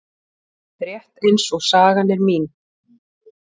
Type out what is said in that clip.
Rétt eins og sagan er mín.